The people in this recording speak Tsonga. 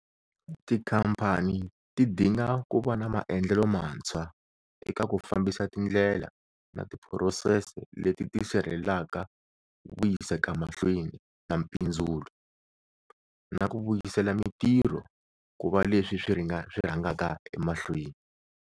Tikhamphani ti dinga ku va na maendlelo mantshwa eka ku fambisa tindlela na tiphurosese leti ti sirhelelaka vuyisekamahlweni na mpindzulo, na ku vuyisela mitirho ku va leswi swi rhangaka emahlweni.